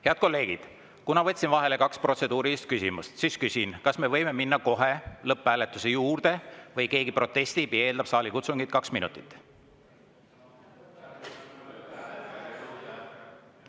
Head kolleegid, kuna võtsin vahele kaks protseduurilist küsimust, siis küsin: kas me võime minna kohe lõpphääletuse juurde või keegi protestib või eeldab saalikutsungit kaks minutit?